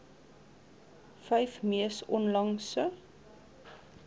vyf mees onlangse